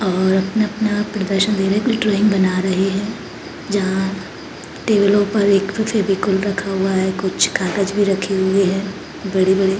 और अपना अपना प्रदर्शन दे रहें हैं ड्राइंग बना रहें हैं जहाँ टेब्लो पर एक कुछ फेविकोल रखा हुआ है कुछ कागज़ भी रखें हुए हैं बड़े-बड़े।